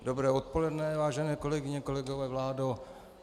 Dobré odpoledne, vážené kolegyně, kolegové, vládo.